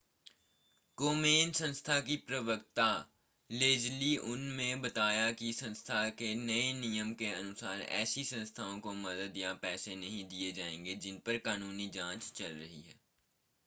कोमेन संस्था की प्रवक्ता लेज़ली उन ने बताया कि संस्था के नए नियम के अनुसार ऐसी संस्थाओं को मदद या पैसे नहीं दिए जाएंगे जिन पर कानूनी जांच चल रही है